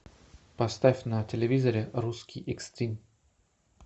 поставь на телевизоре русский экстрим